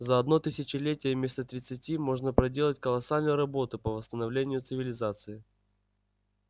за одно тысячелетие вместо тридцати можно проделать колоссальную работу по восстановлению цивилизации